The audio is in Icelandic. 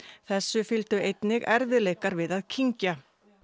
þessu fylgdu einnig erfiðleikar við að kyngja